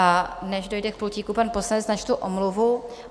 A než dojde k pultíku pan poslanec, načtu omluvu.